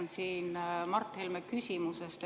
Ma jätkan Mart Helme küsimusest.